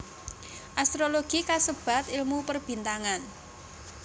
Astrologi kasebat ilmu Perbintangan